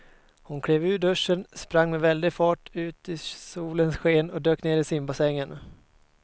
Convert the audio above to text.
Hon klev ur duschen, sprang med väldig fart ut i solens sken och dök ner i simbassängen.